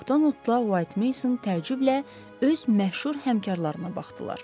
Macdonaldla White Mason təəccüblə öz məşhur həmkarlarına baxdılar.